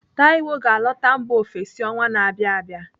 Taiwo ga-alọta mba ofesi ọnwa na-abịa abịa.